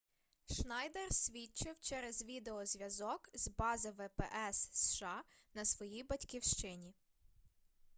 шнайдер свідчив через відеозв'язок з бази впс сша на своїй батьківщині